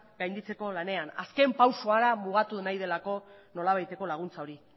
gainditzeko lanean azken pausua mugatu nahi delako nolabaiteko laguntza hori